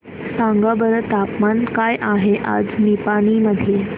सांगा बरं तापमान काय आहे आज निपाणी मध्ये